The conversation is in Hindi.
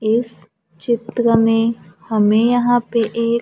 एक चित्र में हमे यहां पे एक--